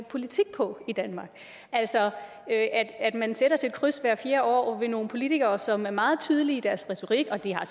politik på i danmark man sætter sit kryds hvert fjerde år ved nogle politikere som er meget tydelige i deres retorik og de har